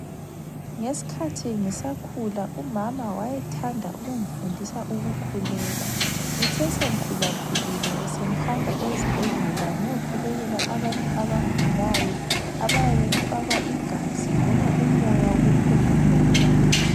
Ngesikhathi ngisakhula umama wayethanda ukungifundisa ukukhuleka. Ngithe sengikhulakhulile besengihamba ezibhedlela ngiyokhulekela abantu abagulayo abayabe befakwa igazi loba umoya wokuphefumula.